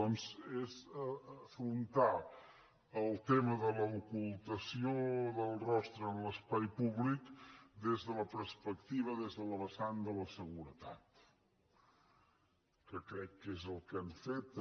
doncs és afrontar el tema de l’ocultació del rostre en l’espai públic des de la perspectiva des de la vessant de la seguretat que crec que és el que han fet també